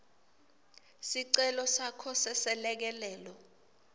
sicelo sakho seselekelelo